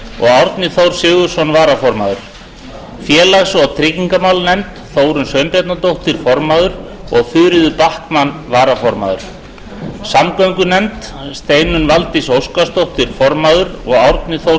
varaformaður árni þór sigurðsson félags og tryggingamálanefnd formaður þórunn sveinbjarnardóttir varaformaður þuríður backman samgöngunefnd formaður steinunn valdís óskarsdóttir varaformaður árni þór